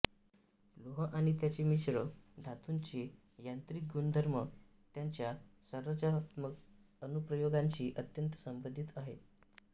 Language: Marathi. लोह आणि त्याचे मिश्र धातुंचे यांत्रिक गुणधर्म त्यांच्या संरचनात्मक अनुप्रयोगांशी अत्यंत संबंधित आहेत